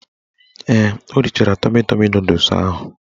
Ee, o richara tọmi tọmi nọdụs ahụ.